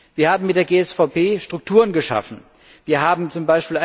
Wir haben mit der GSVP Strukturen geschaffen, wir haben z.